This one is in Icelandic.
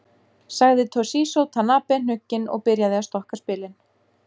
Sagði Toshizo Tanabe hnugginn og byrjaði að stokka spilin.